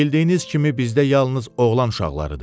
Bildiyiniz kimi bizdə yalnız oğlan uşaqlarıdır.